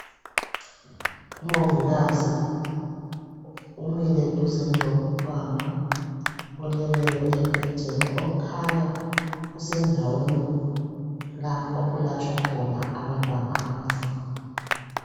Umongikazi umile duzane lomntwana oleleyo embhedeni okukhanya usendaweni la okulatshwa khona abantwana abancane